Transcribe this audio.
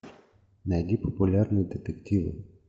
найди популярные детективы